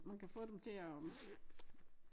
Man kan få dem til at